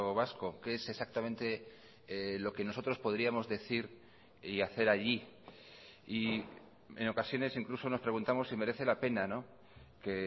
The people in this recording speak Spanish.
vasco qué es exactamente lo que nosotros podríamos decir y hacer allí y en ocasiones incluso nos preguntamos si merece la pena que